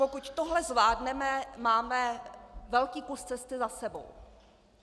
Pokud tohle zvládneme, máme velký kus cesty za sebou.